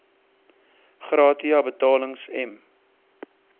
gratia betalings m